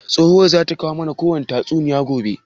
Tsohuwan zata mana kowani tatsuniya gobe?